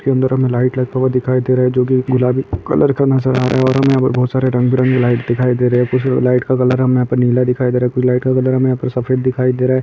Cinder मे light लगा हुआ दिखाई दे रहा है जोकी गुलाबी कलर का नजर आ रह है और हमे यहाँ पर बहोत सारे रंग बिरंगे लाइट दिखाई दे रहा है कुछ लाइट का कलर हमे यह नीला दिखाई दे रहा है कुछ लाइट का कलर हमे सफेद दिखाई दे रहा है।